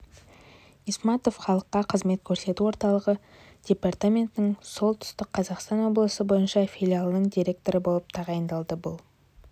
исматов халыққа қызмет көрсету орталығы департаментінің солтүстік қазақстан облысы бойынша филиалының директоры болып тағайындалды бұл